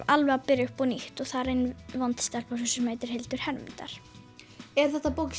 alveg að byrja upp á nýtt og þar er vond stelpa sem heitir Hildur Hermundar er þetta bók